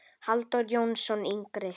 Halldór Jónsson yngri.